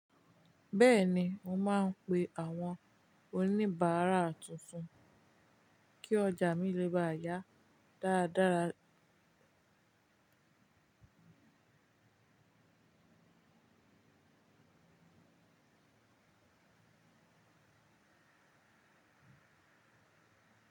Bẹ́ẹ̀ ni, mo máa n pe àwọn oníbàárà tuntun kí ọjà mi lè bá yá dáradára.